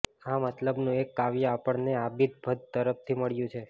આ મતલબનું એક કાવ્ય આપણને આબિદ ભદૃ તરફથી મળ્યું છે